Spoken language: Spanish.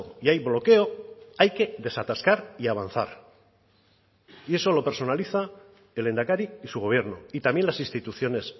y hay bloqueo hay que desatascar y avanzar y eso lo personaliza el lehendakari y su gobierno y también las instituciones